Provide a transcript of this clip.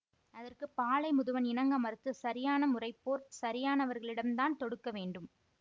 அதற்கு பாலை முதுவன் இணங்க மறுத்து சரியான முறைப்போர் சரியானவர்களிடம் தான் தொடுக்க வேண்டும்